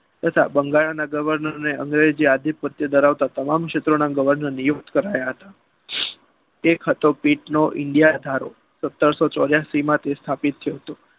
તથા બંગાળના governor ને અંગ્રેજી થી પ્રત્યે ધરાવતા તમામ ક્ષેત્રો પ્રત્યે ક્ષેત્રોના તમામ governor ને નિયુક્ત કરાયા હતા.